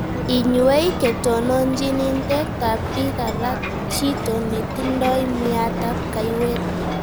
inywei ketoonoonchiniintet ak biik alak chito netindai myanta ab kayweet